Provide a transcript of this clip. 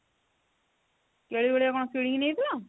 କେଳି ଭଳିଆ କଣ କିଣିକି ନେଇଥିଲ ?